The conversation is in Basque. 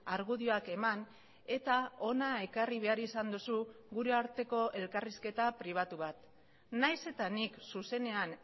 argudioak eman eta hona ekarri behar izan duzu gure arteko elkarrizketa pribatu bat nahiz eta nik zuzenean